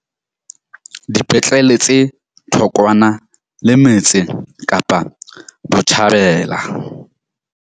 Dipetlele tse thokwana le metse tsa Kapa Botjhabela.